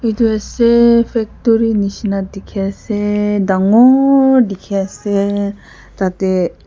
etu ase factory nishina dikhi ase dangooor dikhi ase tate--